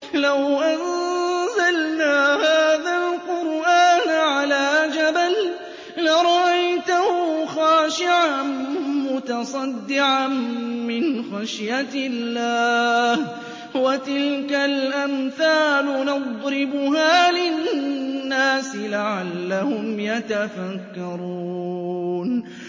لَوْ أَنزَلْنَا هَٰذَا الْقُرْآنَ عَلَىٰ جَبَلٍ لَّرَأَيْتَهُ خَاشِعًا مُّتَصَدِّعًا مِّنْ خَشْيَةِ اللَّهِ ۚ وَتِلْكَ الْأَمْثَالُ نَضْرِبُهَا لِلنَّاسِ لَعَلَّهُمْ يَتَفَكَّرُونَ